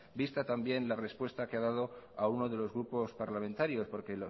vista también la respuesta que ha dado a uno de los grupos parlamentarios porque